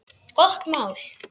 Gott mál.